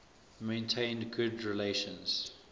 maintained good relations